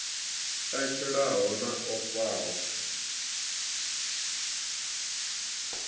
a tshilaho na o faho